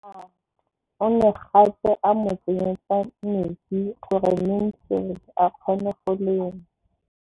O ne gape a mo tsenyetsa metsi gore Mansfield a kgone go lema.